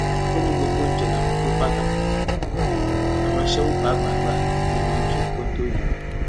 ó ní gbogbo oúnjẹ làwọn pín pátá àwọn aṣẹwó pàápàá gbà nínú oúnjẹ kóńtó yìí